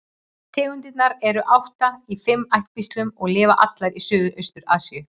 Tegundirnar eru átta í fimm ættkvíslum og lifa allar í Suðaustur-Asíu.